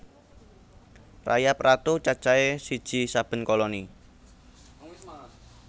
Rayap ratu cacahé siji saben koloni